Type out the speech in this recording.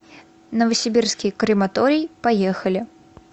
новосибирский крематорий поехали